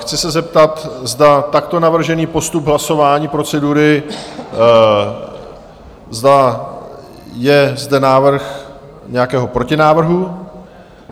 Chci se zeptat, zda takto navržený postup hlasování procedury, zda je zde návrh nějakého protinávrhu?